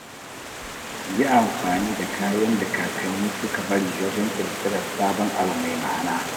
Yi amfani da kayan da kakanni suka bari wajen ƙirƙirar sabon abu mai ma’ana.